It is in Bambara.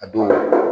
A don